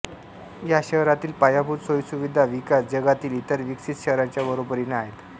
या शहरातील पायाभूत सोयीसुविधा विकास जगातील इतर विकसित शहरांच्या बरोबरीने आहेत